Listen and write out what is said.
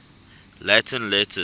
latin letters